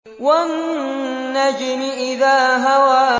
وَالنَّجْمِ إِذَا هَوَىٰ